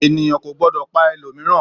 Ènìyàn kò gbọdọ̀ pa ẹlòmíràn!